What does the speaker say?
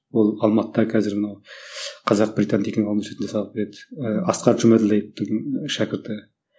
ол алматыда қазір мынау қазақ британ деген университетінде сабақ береді ііі асқар жұмаділдаевтің шәкірті